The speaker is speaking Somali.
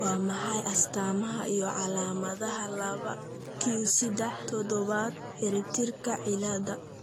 Waa maxay astamaha iyo calaamadaha laba q sedex todoba ciribtirka cilada?